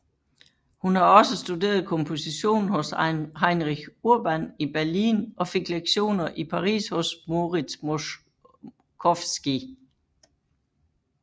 Hun har også studeret komposition hos Heinrich Urban i Berlin og fik lektioner i Paris hos Moritz Moszkowski